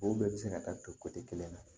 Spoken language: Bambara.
O bɛɛ bɛ se ka taa don kelen na